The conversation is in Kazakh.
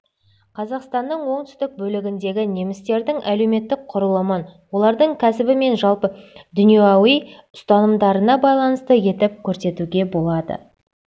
қазақстанның оңтүстік бөлігіндегі немістердің әлеуметтік құрылымын олардың кәсібі мен жалпы дүнияуи ұстанымдарына байланысты етіп көрсетуге болады